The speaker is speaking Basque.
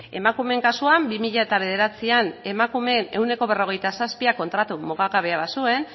emakumeen kasuan bi mila bederatzian emakumeen ehuneko berrogeita zazpiak kontratu mugagabea bazuen